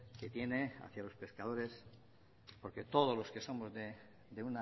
que tiene hacia los pescadores porque todos los que somos de